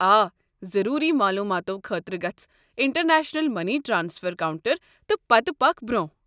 آ، ضروٗری معلوٗماتو خٲطرٕ گژھ انٹرنیشنل مٔنی ٹرٛانسفر کونٛٹر ، تہٕ پتہٕ پکھ برٛۄنٛہہ۔